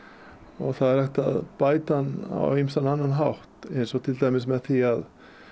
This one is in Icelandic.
og það er hægt að bæta hann á ýmsan annan hátt eins og til dæmis með því að